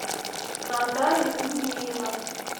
наталья минеева